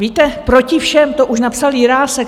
Víte, Proti všem, to už napsal Jirásek.